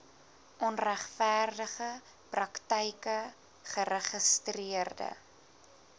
onregverdige praktyke geregistreede